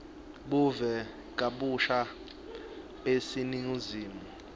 buve kabusha baseningizimu